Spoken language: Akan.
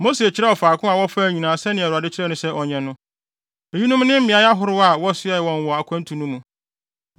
Mose kyerɛw faako a wɔfaa nyinaa sɛnea Awurade kyerɛɛ no sɛ ɔnyɛ no. Eyinom ne mmeae ahorow a wɔsoɛɛ wɔ wɔn akwantu no mu.